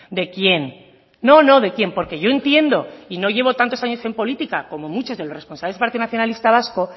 de quién no no de quién porque yo entiendo y no llevo tantos años en política como muchos de los responsables del partido nacionalista vasco